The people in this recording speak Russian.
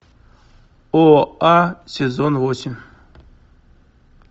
оа сезон восемь